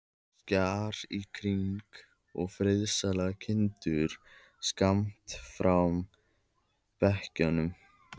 Kjarr í kring, og friðsælar kindur skammt frá bakkanum.